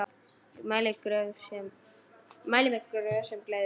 Mæli með Gröf sem gleður.